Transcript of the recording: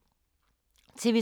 TV 2